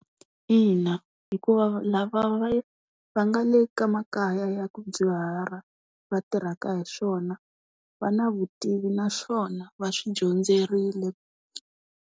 Ina, hikuva lava va va nga le ka makaya ya ku dyuhala, va tirhaka hi swona, va na vutivi naswona va swi dyondzerile.